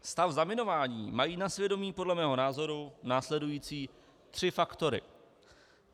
Stav zaminování mají na svědomí podle mého názoru následující tři faktory: